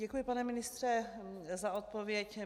Děkuji, pane ministře, za odpověď.